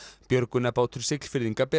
björgunarbátur Siglfirðinga ber